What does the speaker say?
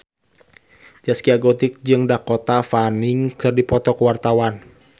Zaskia Gotik jeung Dakota Fanning keur dipoto ku wartawan